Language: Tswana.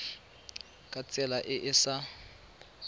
ka tsela e e sa